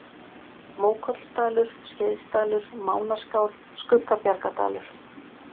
Mókollsdalur, Skeiðsdalur, Mánaskál, Skuggabjargadalur